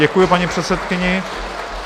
Děkuji paní předsedkyni.